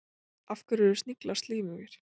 Af hverju eru sniglar slímugir?